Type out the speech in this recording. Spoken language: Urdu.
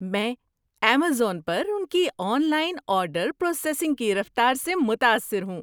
میں ایمیزون پر ان کی آن لائن آرڈر پروسیسنگ کی رفتار سے متاثر ہوں۔